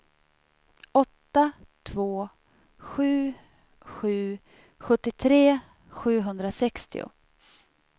åtta två sju sju sjuttiotre sjuhundrasextio